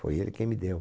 Foi ele quem me deu.